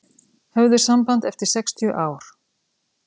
Höfðu samband eftir sextíu ár